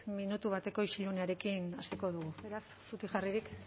minutu bateko isilunearekin hasiko dugu beraz zutik jarririk